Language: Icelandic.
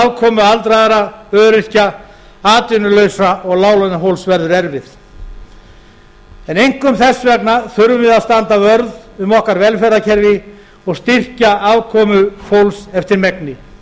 afkomu aldraðra öryrkja atvinnulausra og láglaunafólks verður erfið en einkum þess vegna þurfum við að standa vörð um okkar velferðarkerfi og styrkja afkomu fólks eftir megni